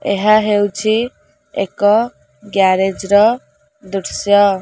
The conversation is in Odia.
ଏହା ହଉଚି ଏକ ଗ୍ୟାରେଜ ର ଦୃଶ୍ୟ।